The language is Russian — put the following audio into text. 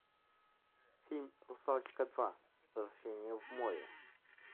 фильм русалочка два возвращение в море